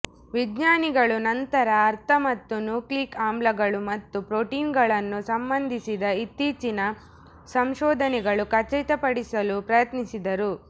ವಿಜ್ಞಾನಿಗಳು ನಂತರ ಅರ್ಥ ಮತ್ತು ನ್ಯೂಕ್ಲಿಯಿಕ್ ಆಮ್ಲಗಳು ಮತ್ತು ಪ್ರೋಟೀನ್ಗಳನ್ನು ಸಂಬಂಧಿಸಿದ ಇತ್ತೀಚಿನ ಸಂಶೋಧನೆಗಳು ಖಚಿತಪಡಿಸಲು ಪ್ರಯತ್ನಿಸಿದರು